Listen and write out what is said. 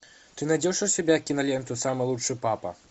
ты найдешь у себя киноленту самый лучший папа